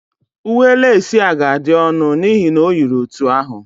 Uwe leci a ga-adị ọnụ n'ihi na o yiri otu ahụ